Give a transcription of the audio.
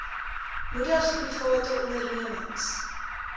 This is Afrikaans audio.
moedig private ondernemings